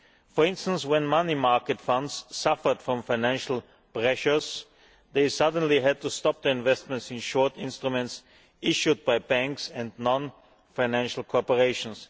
For instance, when money market funds suffered from financial pressures, they suddenly had to stop the investments in short instruments issued by banks and non financial corporations.